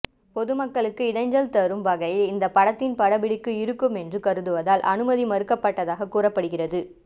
பொதுமக்களுக்கு இடைஞ்சல் தரும் வகையில் இந்த படத்தின் படப்பிடிப்பு இருக்கும் என்று கருதுவதால் அனுமதி மறுக்கப்பட்டதாக கூறப்படுகிறது